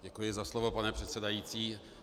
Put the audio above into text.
Děkuji za slovo, pane předsedající.